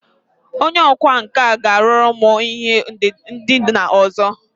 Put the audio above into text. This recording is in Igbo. Onye ọkwá nkà ga-arụru m ihe ndina ọzọ